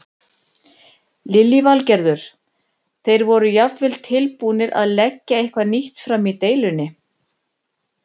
Lillý Valgerður: Þeir voru jafnvel tilbúnir að leggja eitthvað nýtt fram í deilunni?